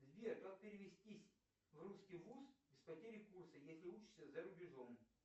сбер как перевестись в русский вуз без потери курса если учишься за рубежом